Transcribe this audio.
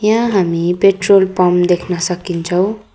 यहाँ हामी petrol pump देख्न सकिन्छौँ।